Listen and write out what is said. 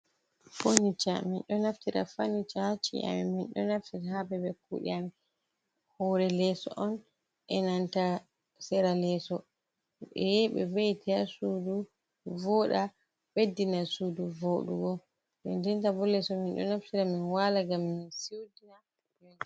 Funiture min ɗo naftira funiture on ha chi’a amin min ɗo naftira ha babal kude Amin, hore leso on enanta sera leso ɓe yahi ɓe veiti ha sudu voda beddina sudu vodugo, dedennta bo leso min ɗo naftira min wala ngam min siuta.